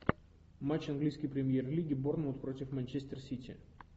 матч английской премьер лиги борнмут против манчестер сити